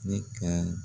Ne ka